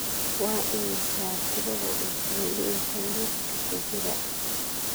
Waa imisa tirada cuntooyinka liiska ku jira?